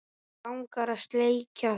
Mig langar að sleikja þig.